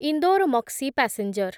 Indore Maksi passenger